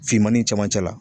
Finmani camancɛ la.